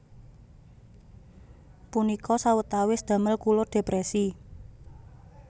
Punika sawetawis damel kula depresi